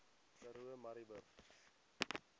karoo murrayburg